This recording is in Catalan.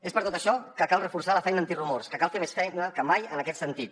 és per tot això que cal reforçar la feina antirumors que cal fer més feina que mai en aquest sentit